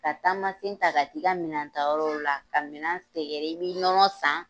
Ka taamasen ta ka t'i ka minɛn ta yɔrɔw la ka minɛn sɛgɛrɛ i bi nɔnɔ san.